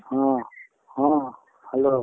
ହଁ, ହଁ, hello ,